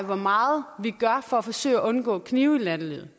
hvor meget vi gør for at forsøge at undgå knive i nattelivet